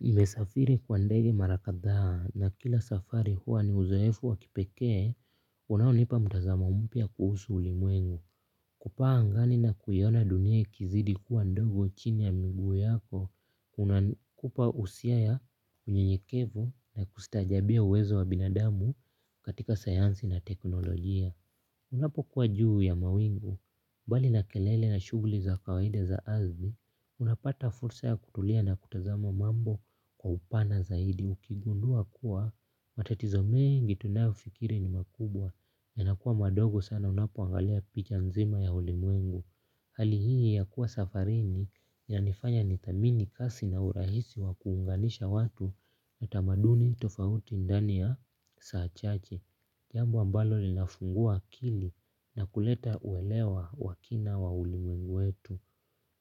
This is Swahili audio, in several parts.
Nimesafiri kwa ndege mara kadhaa na kila safari huwa ni uzoefu wa kipekee unaonipa mtazamo mpya kuhusu ulimwengu. Kupaa angani na kuiona dunia ikizidi kuwa ndogo chini ya miguu yako. Hupa usia ya unyenyekevu na kustaajabia uwezo wa binadamu katika sayansi na teknolojia. Unapokuwa juu ya mawingu, mbali na kelele na shughuli za kawaida za ardhi, unapata fursa ya kutulia na kutazama mambo kwa upana zaidi. Ukigundua kuwa, matatizo mengi tunayofikiri ni makubwa, yanakuwa madogo sana unapoangalia picha nzima ya ulimwengu. Hali hii ya kuwa safarini yanifanya nithamini kasi na urahisi wa kuunganisha watu na tamaduni tofauti ndani ya saa chache. Jambo ambalo linafungua akili na kuleta uelewa wa kina wa ulimwengu wetu.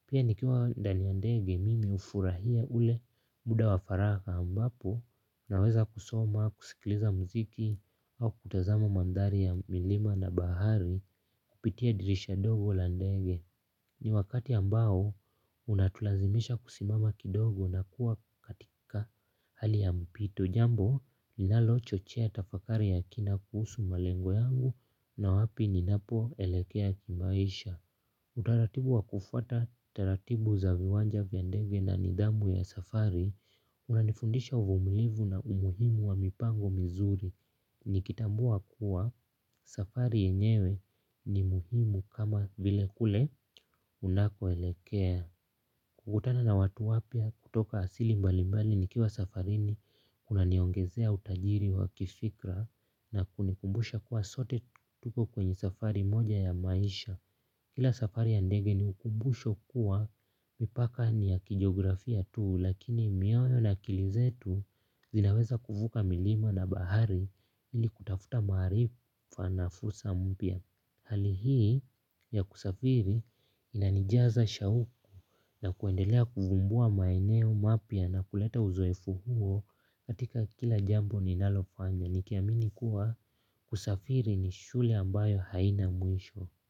Pia nikiwa ndani yavndege mimi hufurahia ule muda wa faragha ambapo naweza kusoma, kusikiliza mziki au kutazama mandhari ya milima na bahari. Kupitia dirisha ndogo la ndege ni wakati ambao unatulazimisha kusimama kidogo na kuwa katika hali ya mpito jambo linalochochea tafakari ya kina kuhusu malengo yangu na wapi ninapoelekea kimaisha. Utaratibu wa kufuata, taratibu za viwanja vya ndege na nidhamu ya safari, unanifundisha uvumilivu na umuhimu wa mipango mizuri. Nikitambua kuwa safari yenyewe ni muhimu kama vile kule unakoelekea. Kukutana na watu wapya kutoka asili mbali mbali nikiwa safarini kunaniongezea utajiri wa kifikra na kunikumbusha kuwa sote tuko kwenye safari moja ya maisha. Kila safari ya ndege ni ukumbusho kuwa mipaka ni ya kijiografia tu lakini mioyo na akili zetu zinaweza kuvuka milima na bahari ili kutafuta maarifa na fursa mpya. Hali hii ya kusafiri inanijaza shauku na kuendelea kuvumbua maeneo mapya na kuleta uzoefu huo katika kila jambo ninalofanya nikiamini kuwa kusafiri ni shule ambayo haina mwisho.